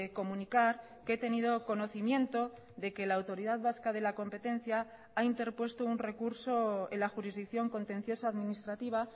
comunicar que he tenido conocimiento de que la autoridad vasca de la competencia ha interpuesto un recurso en la jurisdicción contenciosa administrativa